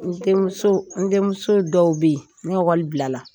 N denmuso n denmuso dɔw bɛ yen ni ekɔli bila la